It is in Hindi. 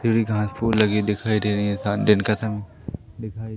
फिर भी घास फूस लगी दिखाई दे रही है सा दिन का समय दिखाई--